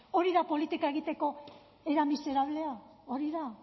hori da politika egiteko era miserablea hori da